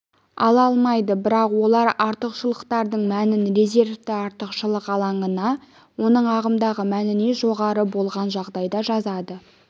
ала алмайды бірақ олар артықшылықтардың мәнін резервті артықшылық алаңына оның ағымдағы мәнінен жоғары болған жағдайда жазады